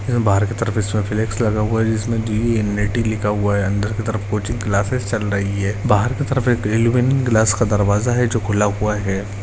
यहाँ बहार की तरफ इसमें फ्लेक्स लगा हुआ है जिसमे लिखा हुआ है अंदर की तरफ कोचिंग क्लासेज चल रही है बाहर की तरफ एक एल्युमीनियम गिलास का दरवाजा है जो खुला हुआ है।